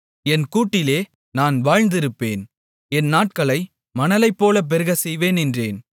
என் கூட்டிலே நான் வாழ்ந்திருப்பேன் என் நாட்களை மணலைப்போலப் பெருகச் செய்வேன் என்றேன்